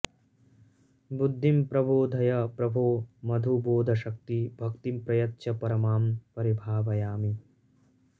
बुद्धिं प्रबोधय प्रभो मधुबोधशक्ति भक्तिं प्रयच्छ परमां परिभावयामि